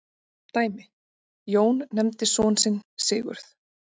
Dæmi: Jón nefndi son sinn Sigurð.